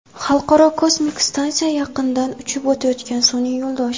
Xalqaro kosmik stansiya yaqinidan uchib o‘tayotgan sun’iy yo‘ldosh.